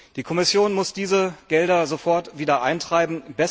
Die Kommission muss diese Gelder sofort wieder eintreiben.